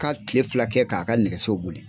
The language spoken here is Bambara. Ka tile fila kɛ k'a ka nɛgɛso boli